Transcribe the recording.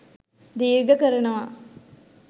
දීර්ඝ කරනවා